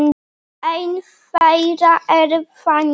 Ein þeirra er þannig